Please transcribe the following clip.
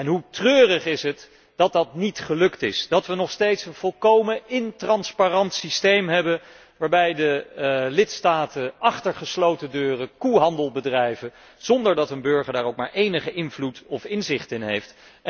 Hoe treurig is het dat dat niet gelukt is, dat wij nog steeds een volkomen ondoorzichtig systeem hebben, waarbij de lidstaten achter gesloten deuren koehandel bedrijven, zonder dat de burger daar ook maar enige invloed op of inzicht in heeft.